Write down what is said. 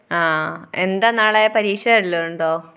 ആ. എന്താ നാളെ? പരീക്ഷ വല്ലതുമുണ്ടോ?